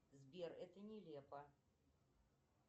сбер это нелепо